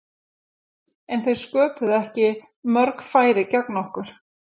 En þeir sköpuðu ekki mörg færi gegn okkur.